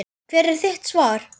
Hvert er þitt svar?